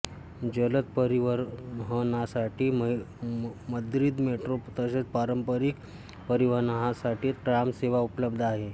जलद परिवहनासाठी Madrid metro तसेच पारंपरिक परिवहनासाठी ट्राम सेवा उपलब्ध आहे